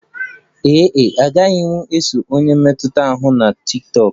Ee e, agaghị m eso onye mmetụta ahụ na tiktokụ